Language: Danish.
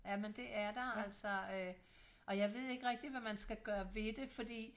Jamen det er der altså øh og jeg ved ikke rigtig hvad man skal gøre ved det fordi